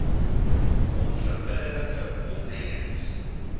onverbidde like omlynings